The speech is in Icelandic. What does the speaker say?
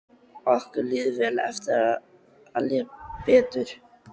Okkur líður vel og á eftir að líða betur.